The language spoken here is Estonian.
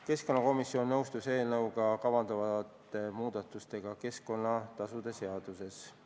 Keskkonnakomisjon nõustus eelnõuga kavandatavate muudatustega keskkonnatasude seaduses.